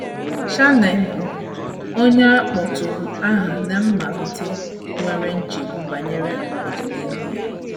Shane, bụ́ onye a kpọtụrụ aha ná mmalite, nwere nchegbu banyere ọdịnihu ya.